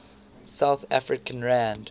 south african rand